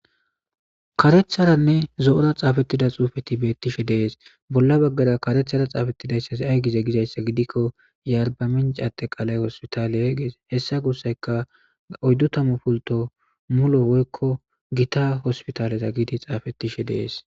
Karetharanne zo'ora xafetida xufet betishe de'es, bolla bagara karethara xafetidaya ay gize gizaysa gidikon yw arbaminch ateqalay hospital ges. Hesa gusayka 40 pulto Gita hospital ges.